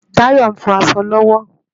Tayo nfò aṣọ lòwò